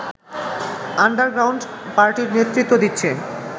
underground পার্টির নেতৃত্ব দিচ্ছে